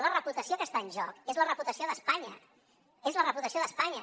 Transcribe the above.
la reputació que està en joc és la reputació d’espanya és la reputació d’espanya